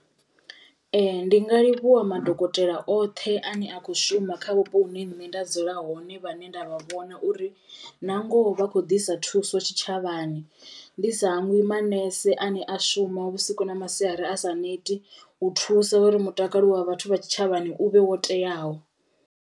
Ee ndi nga livhuwa madokotela oṱhe ane a kho shuma kha vhupo hune nṋe nda dzula hone vhane nda vhona uri na ngoho vha kho ḓisa thuso tshitshavhani, ndi sa hangwi manese ane a shuma vhusiku na masiari asa neti u thusa uri mutakalo wa vhathu vha tshitshavhani u vhe wo teaho.